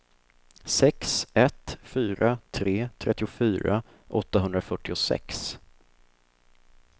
sex ett fyra tre trettiofyra åttahundrafyrtiosex